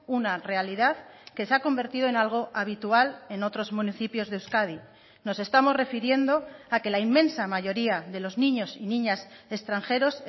una realidad que se ha convertido en algo habitual en otros municipios de euskadi nos estamos refiriendo a que la inmensa mayoría de los niños y niñas extranjeros